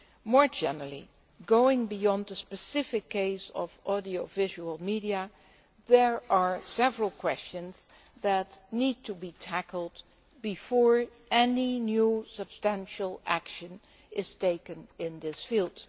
More generally, going beyond the specific case of audiovisual media, there are several questions that need to be tackled before any new substantial action is taken in this field.